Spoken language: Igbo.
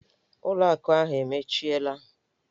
ụlọ akụ ahụ emechiela!